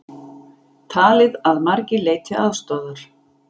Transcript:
Talið að margir leiti aðstoðar